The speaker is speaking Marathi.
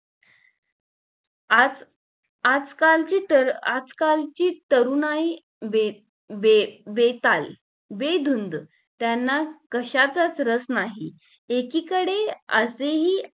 आज आजकाल ची तर आजकालची तरुण तरुणाई बे बे बेताल बेधुंद त्यांना कशाचं च रस नाही. एकीकडे असे ही